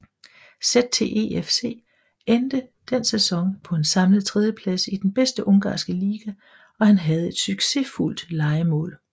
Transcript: ZTE FC endte den sæson på en samlet tredjeplads i den bedste ungarske liga og han havde et succesfuldt lejemål